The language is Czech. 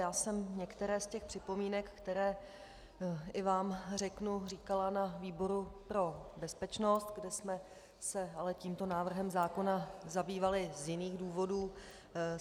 Já jsem některé z těch připomínek, které i vám řeknu, říkala na výboru pro bezpečnost, kde jsme se ale tímto návrhem zákona zabývali z jiných důvodů.